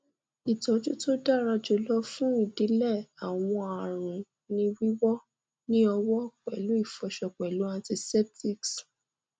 ìtọjù tó dára jùlọ fún idilẹ àwọn àrùn ni wíwọ ní ọwọ pẹlú ìfọṣọ pẹlú antiseptics